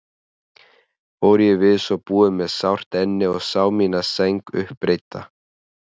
Fór ég við svo búið með sárt enni og sá mína sæng uppreidda.